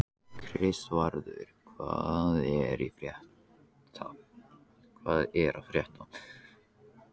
Kristvarður, hvað er að frétta?